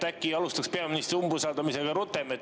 Äkki alustaks peaministri umbusaldamisega rutem?